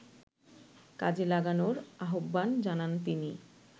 কাজে লাগানোর আহ্বান জানান তিনি